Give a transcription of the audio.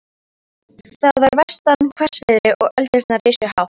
Það var vestan hvassviðri og öldurnar risu hátt.